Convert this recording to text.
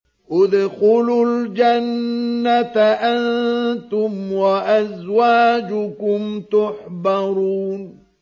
ادْخُلُوا الْجَنَّةَ أَنتُمْ وَأَزْوَاجُكُمْ تُحْبَرُونَ